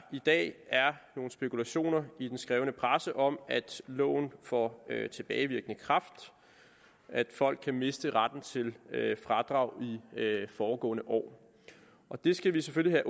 i dag er nogle spekulationer i den skrevne presse om at loven får tilbagevirkende kraft at folk kan miste retten til fradrag i foregående år det skal vi selvfølgelig